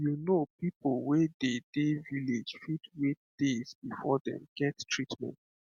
you know people wey dey dey village fit wait days before dem get treatment